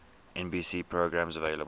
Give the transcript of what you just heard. nbc programs available